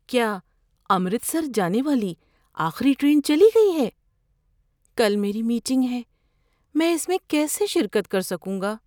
کیا امرتسر جانے والی آخری ٹرین چلی گئی ہے؟ کل میری میٹنگ ہے، میں اس میں کیسے شرکت کر سکوں گا؟